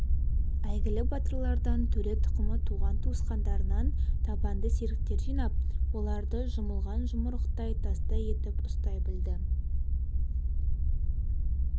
әйгілі батырлардан төре тұқымы туған-туысқандарынан табанды серіктер жинап оларды жұмылған жұмырықтай тастай етіп ұстай білді